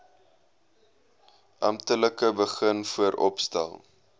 amptelik begin vooropstel